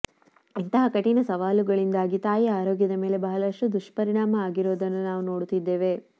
ಇಂತಹ ಕಠಿಣ ಸವಾಲುಗಳಿಂದಾಗಿ ತಾಯಿ ಆರೋಗ್ಯದ ಮೇಲೆ ಬಹಳಷ್ಟು ದುಷ್ಟರಿಣಾಮ ಆಗಿರುವುದನ್ನು ನಾವು ನೋಡುತ್ತಿದ್ದೇವೆ